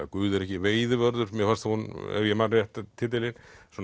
Guð er ekki veiðivörður mér fannst hún ef ég man rétt titilinn